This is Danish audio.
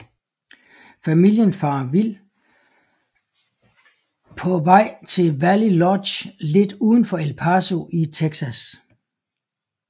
Familien farer vild på vej til Valley Lodge lidt udenfor El Paso i Texas